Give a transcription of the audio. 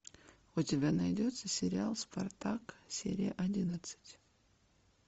у тебя найдется сериал спартак серия одиннадцать